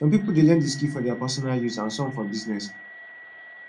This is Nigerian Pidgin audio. some pipo de learn di skill for their personal use and some for business